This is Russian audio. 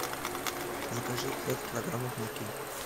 закажи пять килограммов муки